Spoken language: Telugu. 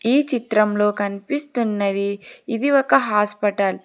ఈ చిత్రంలో కనిపిస్తున్నది ఇది ఒక హాస్పటల్ .